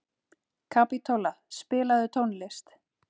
Kapitola, spilaðu tónlist.